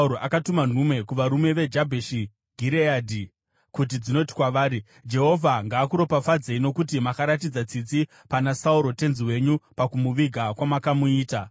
akatuma nhume kuvarume veJabheshi Gireadhi kuti dzinoti kwavari, “Jehovha ngaakuropafadzei nokuti makaratidza tsitsi pana Sauro tenzi wenyu pakumuviga kwamakamuita.